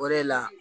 O de la